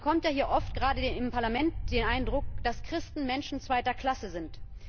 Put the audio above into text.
Man bekommt ja hier gerade im Parlament oft den Eindruck, dass Christen Menschen zweiter Klasse sind.